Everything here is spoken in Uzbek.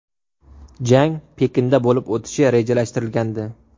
Jang Pekinda bo‘lib o‘tishi rejalashtirilgandi.